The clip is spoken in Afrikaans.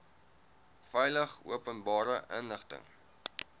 veilig openbare inligting